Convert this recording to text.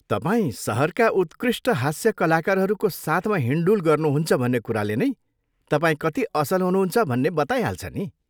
तपाईँ सहरका उत्कृष्ट हास्य कलाकारहरूको साथमा हिँडडुल गर्नुहुन्छ भन्ने कुराले नै तपाईँ कति असल हुनुहुन्छ भन्ने बताइहाल्छ नि।